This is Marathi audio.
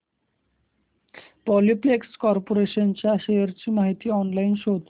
पॉलिप्लेक्स कॉर्पोरेशन च्या शेअर्स ची माहिती ऑनलाइन शोध